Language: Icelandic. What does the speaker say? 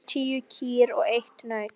Það voru tíu kýr og eitt naut.